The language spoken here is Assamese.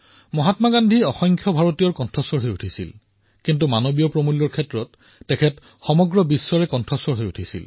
মহাত্মা গান্ধী অসংখ্য ভাৰতীয়ৰ কণ্ঠস্বৰ হোৱাৰ লগতে মানৱ মূল্যৰ গৰিমাৰ বাবে এক প্ৰকাৰে বিশ্বৰো কণ্ঠ হিচাপে পৰিগণিত হৈছিল